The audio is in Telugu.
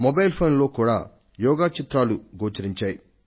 మొబైల్ ఫోన్ లో యోగా చిత్రాలు గోచరించాయి